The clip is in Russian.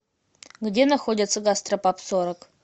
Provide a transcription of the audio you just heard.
где находится гастропаб сорок